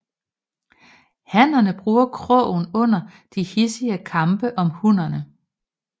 Hannerne bruger krogen under de hidsige kampe om hunnerne